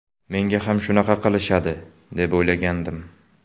Menga ham shunaqa qilishadi, deb o‘ylagandim.